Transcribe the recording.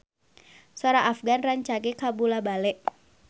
Sora Afgan rancage kabula-bale